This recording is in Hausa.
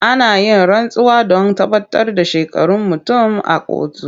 Ana yin rantsuwa don tabbatar da shekarun mutum a kotu.